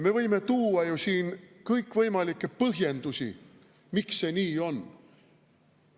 Me võime tuua ju siin kõikvõimalikke põhjendusi, miks see nii on.